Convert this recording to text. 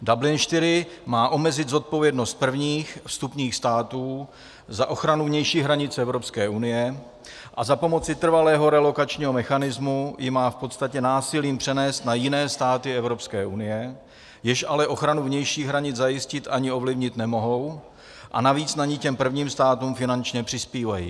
Dublin IV má omezit zodpovědnost prvních vstupních států za ochranu vnějších hranic Evropské unie a za pomoci trvalého relokačního mechanismu ji má v podstatě násilím přenést na jiné státy Evropské unie, jež ale ochranu vnějších hranic zajistit ani ovlivnit nemohou, a navíc na ni těm prvním státům finančně přispívají.